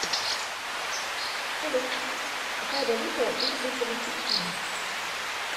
салют какая валюта у жителей чечни